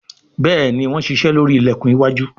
Béèni wón ṣiṣe lórí ilẹkùn iwájú.